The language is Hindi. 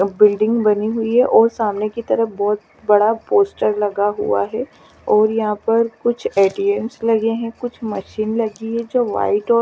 और बिल्डिंग बनी हुई है और सामने की तरफ बहुत बड़ा पोस्टर लगा हुआ है और यहां पर कुछ ए_टी_एम लगे हैं कुछ मशीन लगी है जो व्हाइट और --